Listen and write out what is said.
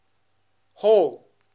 hall